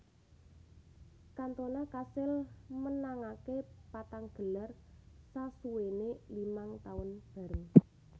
Cantona kasil menangake patang gelar sasuwene limang taun bareng